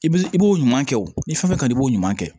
I b'i i b'o ɲuman kɛ o ni fɛn kaɲi i b'o ɲuman kɛ